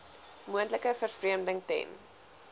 moontlike vervreemding ten